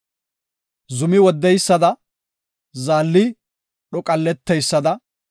Zumi woddeysada, zaalli dhoqalleteysada,